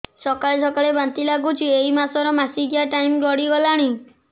ସକାଳେ ସକାଳେ ବାନ୍ତି ଲାଗୁଚି ଏଇ ମାସ ର ମାସିକିଆ ଟାଇମ ଗଡ଼ି ଗଲାଣି